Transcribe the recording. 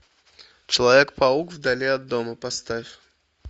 человек паук вдали от дома поставь